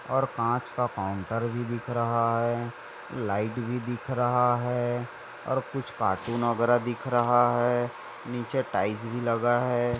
और कांच का काउंटर भी दिख रहा है लाइट भी दिख रहा है और कुछ कार्टून वगैरा दिख रहा है निचे टाइल्स भी लगा है।